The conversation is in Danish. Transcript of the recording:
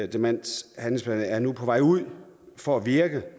demenshandlingsplan er nu på vej ud for at virke